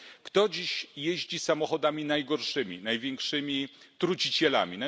Kto dziś jeździ samochodami najgorszymi, największymi trucicielami?